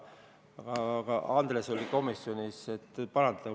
Andres oli komisjonis, tema võib parandada.